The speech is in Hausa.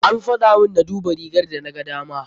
An faɗamun na duba rigar da na gadama.